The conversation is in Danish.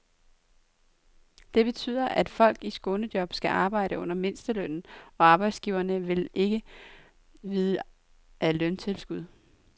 Det betyder, at folk i skånejob skal arbejde under mindstelønnen, og arbejdsgiverne vil ikke vide af løntilskud.